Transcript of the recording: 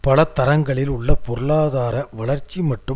பலதரங்களில் உள்ள பொருளாதார வளர்ச்சி மற்றும்